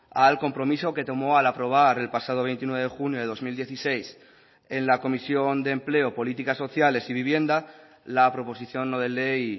al compromiso que tomó al aprobar el pasado veintinueve de junio de dos mil dieciséis en la comisión de empleo políticas sociales y vivienda la proposición no de ley